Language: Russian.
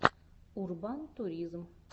урбантуризм